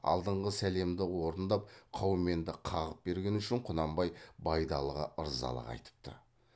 алдыңғы сәлемді орындап қауменді қағып бергені үшін құнанбай байдалыға ырзалық айтыпты